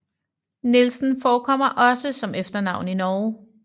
Nielsen forekommer også som efternavn i Norge